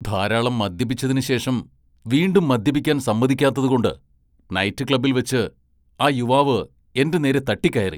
ധാരാളം മദ്യപിച്ചതിന് ശേഷം വീണ്ടും മദ്യപിക്കാൻ സമ്മതിക്കാത്തതുകൊണ്ട് നൈറ്റ് ക്ലബ്ബിൽവെച്ച് ആ യുവാവ് എന്റെ നേരെ തട്ടിക്കയറി.